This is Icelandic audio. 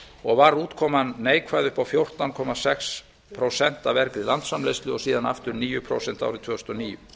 og var útkoman neikvæð upp á fjórtán komma sex prósent af vergri landsframleiðslu og síðan aftur níu prósent árið tvö þúsund og níu